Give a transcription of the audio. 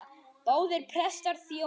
Báðir prestar þjóna.